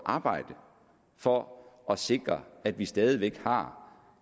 arbejde for at sikre at vi stadig væk har